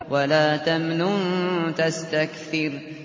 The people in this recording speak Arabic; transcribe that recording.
وَلَا تَمْنُن تَسْتَكْثِرُ